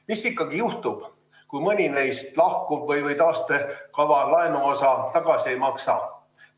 Mis ikkagi juhtub, kui mõni neist lahkub või taastekava laenuosa tagasi ei maksa?